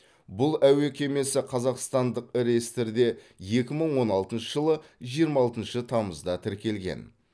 бұл әуе кемесі қазақстандық реестрде екі мың он алтыншы жылы жиырма алтыншы тамызда тіркелген